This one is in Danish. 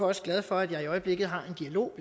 også glad for at jeg i øjeblikket har en dialog